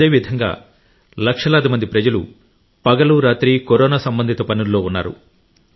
అదేవిధంగా లక్షలాది మంది ప్రజలు పగలు రాత్రి కరోనా సంబంధిత పనుల్లో ఉన్నారు